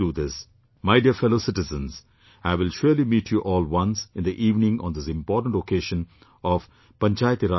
My dear fellow citizens, I will surely meet you all once in the evening on this important occasion of Panchayati Raj Divas today